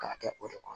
K'a kɛ o de kɔnɔ